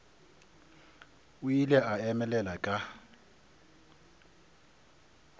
o ile a emelela ka